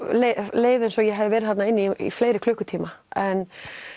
leið eins og ég hafi verið þarna inni í fleiri klukkutíma en